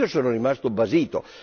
Io sono rimasto basito!